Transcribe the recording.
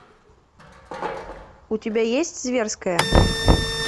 у тебя есть зверское